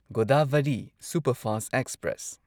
Godavari superfast express